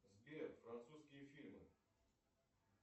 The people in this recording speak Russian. сбер французские фильмы